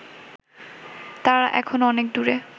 তারা এখনও অনেক দূরে